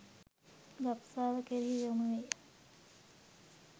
ගබ්සාව කෙරෙහි යොමු වේ